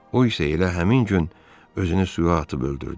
O isə elə həmin gün özünü suya atıb öldürdü.